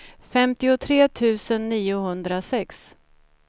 femtiotre tusen niohundrasex